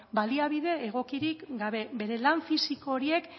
baliabide egokirik gabe bere lan fisiko horiek